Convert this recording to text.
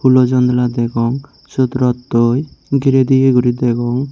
hulo janla degong sot rottoi gire diya gori degong.